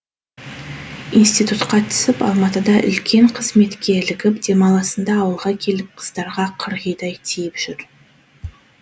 институтқа түсіп алматыда үлкен қызметке ілігіп демалысында ауылға келіп қыздарға қырғидай тиіп жүр